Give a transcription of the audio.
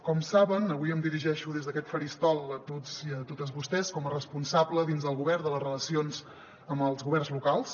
com saben avui em dirigeixo des d’aquest faristol a tots i a totes vostès com a responsable dins del govern de les relacions amb els governs locals